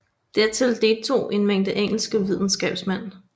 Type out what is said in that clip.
Dertil deltog en mængde engelske videnskabsmænd